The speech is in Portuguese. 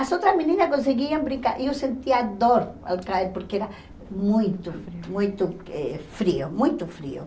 As outras meninas conseguiam brincar e eu sentia dor ao cair porque era muito, muito frio, muito frio.